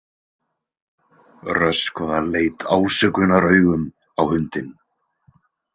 Röskva leit ásökunaraugum á hundinn.